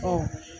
Ɔ